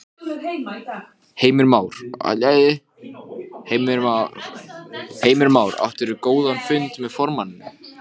Ég horfði á hann furðu lostinn.